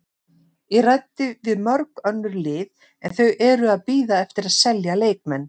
Ég ræddi við mörg önnur lið en þau eru að bíða eftir að selja leikmenn.